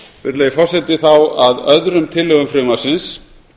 virðulegi forseti þá að öðrum tillögum frumvarpsins